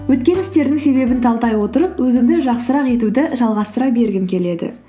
өткен істердің себебін талдай отырып өзімді жақсырақ етуді жалғастыра бергім келеді